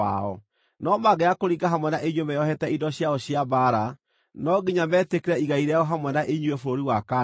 No mangĩaga kũringa hamwe na inyuĩ meeohete indo ciao cia mbaara, no nginya metĩkĩre igai rĩao hamwe na inyuĩ bũrũri wa Kaanani.”